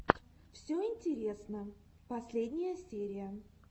все интересно последняя серия